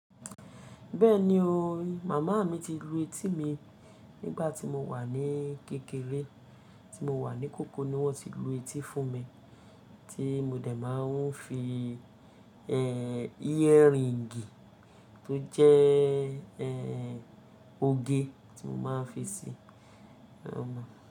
Bẹ́ẹ̀ni o, màmá mi ti lu etí mi nígbà tí mo wà ní kékeré, tí mo wà ní kokolo ni wọ́n ti lu etí fún mi tí mo dẹ̀ máa ń fi, eeh, earring tó jẹ́, eeh, oge tí mo máa ń fi sí, o mọ.